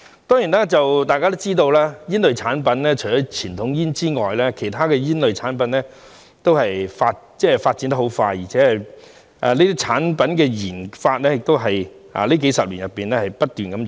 當然，大家也知道煙類產品除了傳統煙外，其他煙類產品的發展十分迅速，而且這些產品的研發在這數十年內不斷湧現。